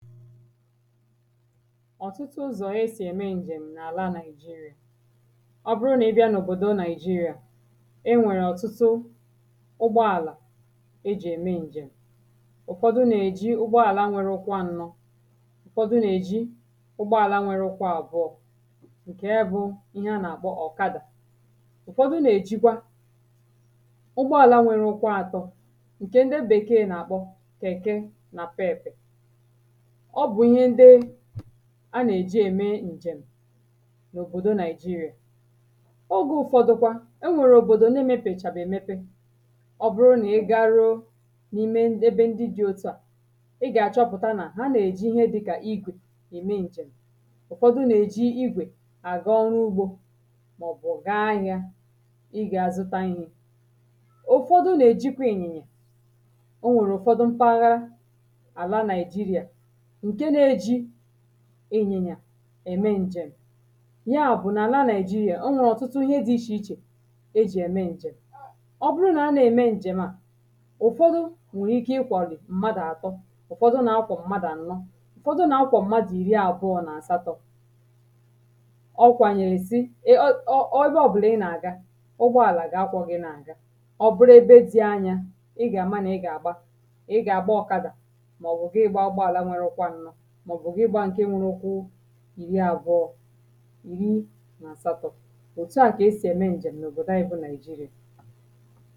ọ̀tụtụ ụzọ̀ esì ème ǹjem̀ n’àla Nigeria ọ bụrụ nà ị bịa n’òbòdo Nigeria enwèrè ọ̀tụtụ ụgbọ àlà ejì ème ǹjem̀ ụ̀fọdụ nà-èji ụgbọ àla nwērē ụkwụ ānọ̄ ụ̀fọdụ nà-èji ụgbọ àla nwērē ụkwụ àbụọ̄ ǹke bụ̄ ihe a nà-àkpọ ọ̀kadà ụ̀fọdụ nà-èjikwa ụgbọ àla nwērē ụkwụ ātọ̄ ǹkè ndị bèekè nà-àkpọ kẹ̀kẹ nà pẹẹ̀pẹ̀ ọ bụ̀ ihe ndị a nà-èji ème ǹjem̀ n’òbòdo Nigeria ogē ụ̄fọ̄dụ̄ kwā enwèrè òbòdò na-ēmèpèchàbè èmepe ọ bụrụ nà ị gaa ruo n’ime ebe ndị dị̄ otu à ị gà-achọpụ̀ta nà ha nà-èji ihe dị̄ka igwè ème ǹjem̀ ụ̀fọdụ nà-èji igwè àga ọrụ ugbō màọ̀bụ̀ gaa ahịā ịgā zụta ihē ụ̀fọdụ nà-èjikwa ị̀nyị̀nyà o nwèrè ụ̀fọdụ mpaghara àla Nigeria ǹke nā-ējī ị̀nyị̀nyà ème ǹjem̀ ya bụ̀ n’àla Nigeria o nwèrè ọ̀tụtụ ihe dị̄ ichè ichè ejì ème ǹjem̀ ọ bụrụ nà ha nà-ème ǹjèm à ụ̀fọdụ̀ nwè ike ịkwà rù mmadụ̀ àbụọ̄ ụ̀fọdụ na-akwọ̀ mmadụ̀ ànọ ụ̀fọdụ na-akwọ̀ mmadụ̀ ìri àbụọ̄ nà àsatọ̄ ọ̀ kwànyèrè sị e ọ e ọ ebe ọ̀bụ̀là ị nà-àga ụgbọ àlà ga-akwọ̄ gị̄ na-àga ọ bụrụ ebe dị̄ anyā ị gà-ama nà ị gà-àgba ị gà-àgba ọ̀kadà màọ̀bụ̀ gị gbāā ụgbọ àla nwērē ụkwụ ānọ̄ màọ̀bụ̀ gị gbāā ǹke nwērē ụkwụ ìri àbụọ̄ ìri nà àsatọ̄ òtu à kà esì ème ǹjem̀ n’òbòdo ānyị̄ bụ̄ nigeria